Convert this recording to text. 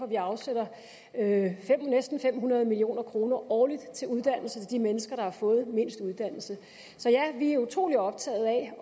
vi afsætter næsten fem hundrede million kroner årligt til uddannelse til de mennesker der har fået mindst uddannelse så ja vi er utrolig optaget af at